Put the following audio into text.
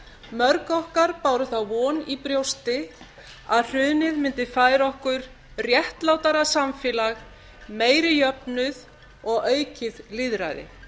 mörg okkar báru þá von í brjóti að hrunið mundi færa okkur réttlátara samfélag meiri jöfnuð og aukið lýðræði